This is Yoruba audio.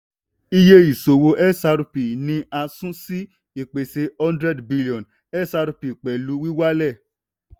iye ìṣòwò xrpl ni a sun sí ìpèsè hundrend billion xrp pẹ̀lú wíwálẹ̀.